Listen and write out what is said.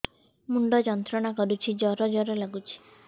ମୁଣ୍ଡ ଯନ୍ତ୍ରଣା କରୁଛି ଜର ଜର ଲାଗୁଛି